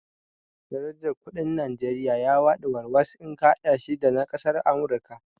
Darajar kuɗin Najeriya ya faɗi warwas in ka haɗa shi da na kasar Amurika